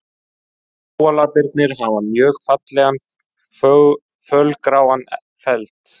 Kóalabirnir hafa mjög fallegan fölgráan feld.